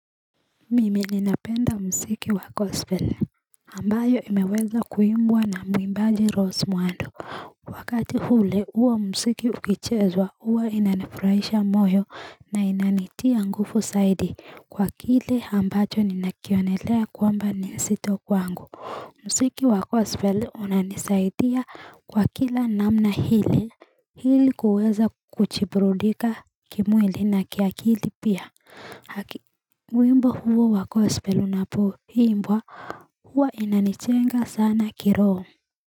Mimi ninapenda muziki wa gospeli ambayo imeweza kuimbwa na mwimbaji Rose Muhando wakati hule uwa msiki ukichezwa huwa inanifurahisha moyo na inanitia nguvu zaidi kwa kile ambacho ninakionelea kwamba ni zito kwangu muziki wa gospeli unanisaidia kwa kila namna hili hili kuweza kuburudika kimwili na kiakili pia wimbo huo wa gospeli unapoimbwa huwa inanichenga sana kiroho.